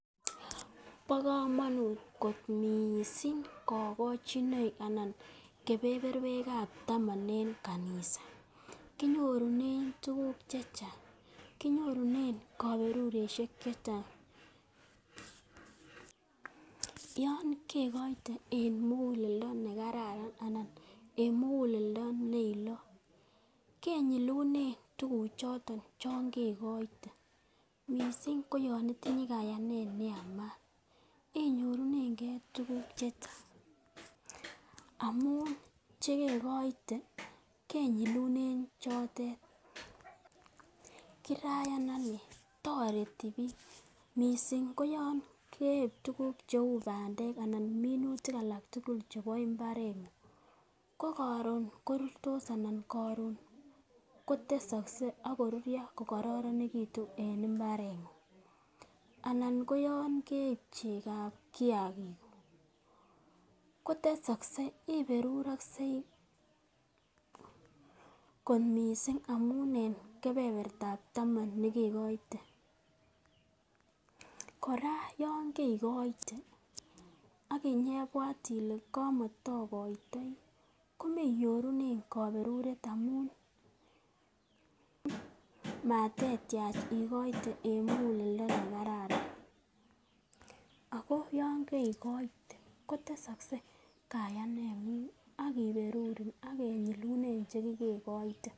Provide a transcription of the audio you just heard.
Bo komonut kot mising! kogochinoik anan kebeberwek ab taman en kanisa kinyorunen tuguk che chang. Kinyorunen koberurosiek che chang yon kigoite en muguleldone kararan anan en muguleldo ne ilot kenyilunen tuguchoto chon kegoite. Mising ko yon intinye kayanet ne yamat inyorunenge tuguk che chang amun che kegoite kenyilunen chotet kirayan ane. Toreti biik. Mising koyon keib bandek anan minutik alak tugul chebo mbareng'ung ko koron korurtos anan koron kotesokse ak kururyo kokororonegitu en mbareng'ung. Anan koyon keib chekab kiyagikuk, kotesokse, iberuroksei kot mising amun en kebebertab taman ne kegoite. Kora yon keigoite ak inyoibwat ile kamataogoitoi komaninyorunen koberuret amun matetyach igoite en muguleldo ne kararan. Ago yon keigoite kotesokse kayaneng'ung ak kiberurin ak kenyilunen che kegoite.